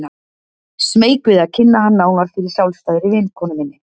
Smeyk við að kynna hann nánar fyrir sjálfstæðri vinkonu minni.